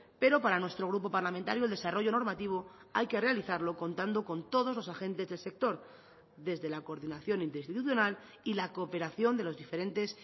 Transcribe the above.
pero para nuestro grupo parlamentario el desarrollo normativo hay que realizarlo contando con todos los agentes del sector desde la coordinación interinstitucional y la cooperación de los diferentes